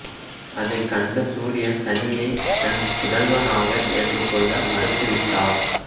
அதைக் கண்ட சூரியன் சனியை தன் புதல்வனாக ஏற்றுக்கொள்ள மறுத்துவிட்டார்